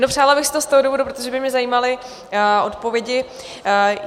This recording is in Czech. No, přála bych si to z toho důvodu, protože by mě zajímaly odpovědi.